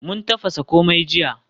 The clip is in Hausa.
Mun tafasa komai jiya.